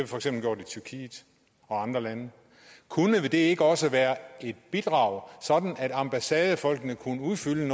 for eksempel gjort i tyrkiet og andre lande kunne det ikke også være et bidrag sådan at ambassadefolkene kunne udfylde en